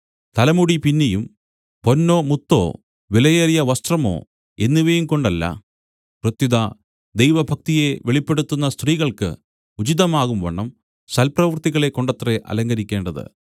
തലമുടി പിന്നിയും പൊന്നോ മുത്തോ വിലയേറിയ വസ്ത്രമോ എന്നിവയും കൊണ്ടല്ല പ്രത്യുത ദൈവഭക്തിയെ വെളിപ്പെടുത്തുന്ന സ്ത്രീകൾക്ക് ഉചിതമാകുംവണ്ണം സൽപ്രവൃത്തികളെക്കൊണ്ടത്രേ അലങ്കരിക്കേണ്ടത്